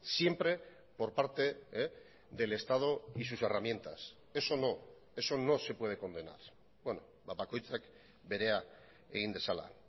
siempre por parte del estado y sus herramientas eso no eso no se puede condenar bakoitzak berea egin dezala